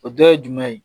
O dɔ ye jumɛn ye